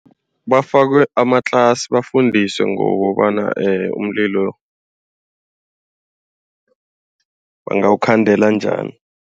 Bafakwe amatlasi bafundiswe ngokobana umlilo bangawukhandela njani.